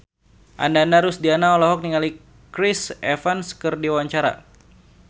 Ananda Rusdiana olohok ningali Chris Evans keur diwawancara